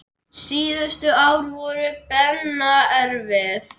Síðustu ár voru Benna erfið.